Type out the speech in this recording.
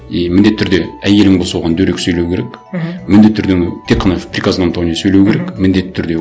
и міндетті түрде әйелің болса оған дөрекі сөйлеу керек мхм міндетті түрде тек қана в приказном тоне сөйлеу керек міндетті түрде